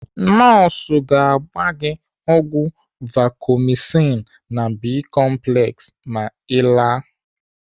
Nọọsụ ga-agba gị ọgwụ Vacomycin na Bi-complex ma Ị laa.